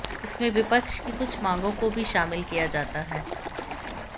इसमें विपक्ष की कुछ मांगों को भी शामिल किया गया है